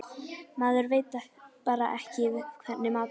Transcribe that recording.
Maður veit bara ekki hvernig maturinn er.